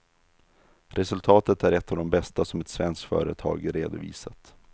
Resultatet är ett av de bästa som ett svenskt företag redovisat.